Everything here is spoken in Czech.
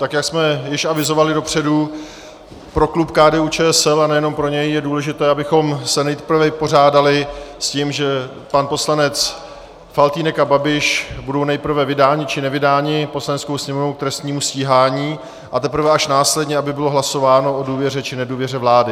Tak jak jsme již avizovali dopředu, pro klub KDU-ČSL, a nejenom pro něj, je důležité, abychom se nejprve vypořádali s tím, že pan poslanec Faltýnek a Babiš budou nejprve vydáni či nevydáni Poslaneckou sněmovnou k trestnímu stíhání, a teprve až následně aby bylo hlasováno o důvěře či nedůvěře vládě.